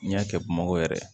N'i y'a kɛ bamakɔ yɛrɛ